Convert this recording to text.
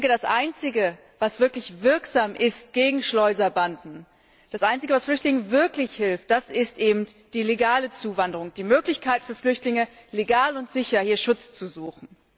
Das Einzige, was wirklich wirksam ist gegen Schleuserbanden, das Einzige, was Flüchtlingen wirklich hilft, das ist eben die legale Zuwanderung, die Möglichkeit für Flüchtlinge, legal und sicher hier Schutz zu suchen.